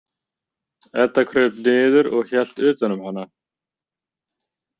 Edda kraup niður og hélt utan um hana.